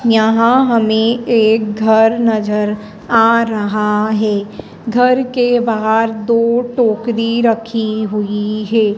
यहां हमें एक घर नजर आ रहा है घर के बाहर दो टोकरी रखी हुई है।